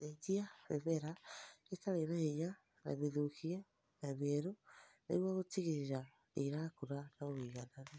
Cenjania mĩmera ĩtarĩ na hinya na mĩthũkie na mĩerũ nĩguo gũtigĩrĩra nĩrakũra na ũigananu